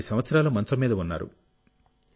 7 సంవత్సరాలు మంచం మీద ఉన్నారు